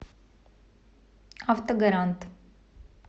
автогарант